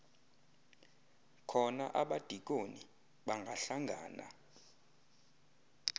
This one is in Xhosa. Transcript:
khona abadikoni bangahlangana